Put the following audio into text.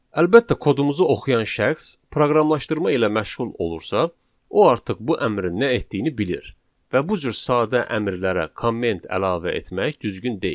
Əlbəttə, kodumuzu oxuyan şəxs proqramlaşdırma ilə məşğul olursa, o artıq bu əmrin nə etdiyini bilir və bu cür sadə əmrlərə komment əlavə etmək düzgün deyil.